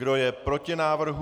Kdo je proti návrhu?